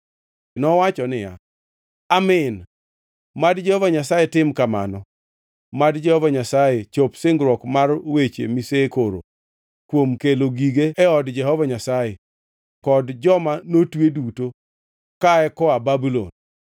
Nowacho niya, “Amin! Mad Jehova Nyasaye tim kamano! Mad Jehova Nyasaye chop singruok mar weche misekoro kuom kelo gige od Jehova Nyasaye kod joma notwe duto kae koa Babulon.